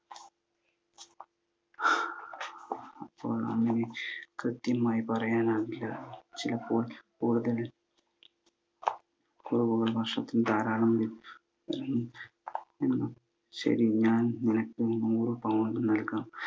അങ്ങനെ കൃത്യമായി പറയാനാവില്ല. ചിലപ്പോൾ കൂടുതൽ കുറവുകളും നഷ്ടത്തിൻ്റെയും ധാരാളം. ശരി, ഞാൻ നിനക്ക് നൂറ് pound നൽകാം.